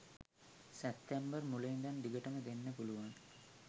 සැප්තැම්බර් මුල ඉඳන් දිගටම දෙන්න පුලුවන්.